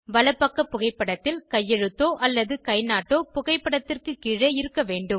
வலப்பக்க புகைப்படத்தில் கையெழுத்தோ அல்லது கைநாட்டோ புகைப்படத்திற்கு கீழே இருக்க வேண்டும்